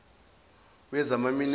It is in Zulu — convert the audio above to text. wezamaminerali